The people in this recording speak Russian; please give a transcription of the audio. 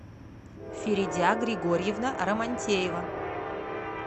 феридя григорьевна романтеева